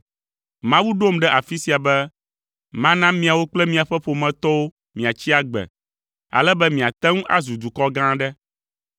Mawu ɖom ɖe afi sia be mana miawo kple miaƒe ƒometɔwo miatsi agbe, ale be miate ŋu azu dukɔ gã aɖe.